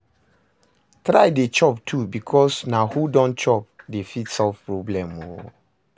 Try dey chop too bikos na who don chop dey fit solve problem o